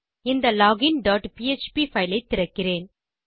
இந்த login dot PHP file ஐ திறக்கிறேன்